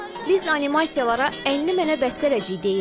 Biz animasiyalara "Əlini mənə əbəst eləyəcək" deyirik.